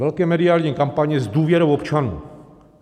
Velké mediální kampaně s důvěrou občanů.